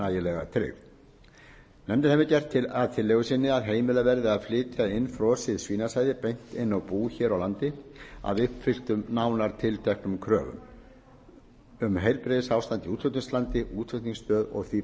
nægilega tryggð nefndin hefur gert að tillögu sinni að heimilað verði að flytja frosið svínasæði beint inn á bú hér á landi að uppfylltum nánar tilteknum kröfum um heilbrigðisástand í útflutningslandi útflutningsstöð og því